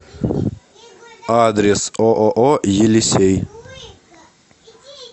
адрес ооо елисей